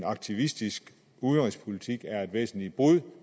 aktivistiske udenrigspolitik er et væsentligt brud